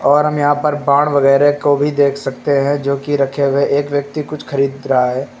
और हम यहां पर बाण वगैरह को भी देख सकते हैं जो की रखे हुए हैं एक व्यक्ति कुछ खरीद रहा है।